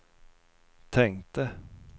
tänkte